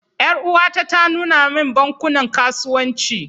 Yar'uwata ta nuna min bankunan kasuwanci.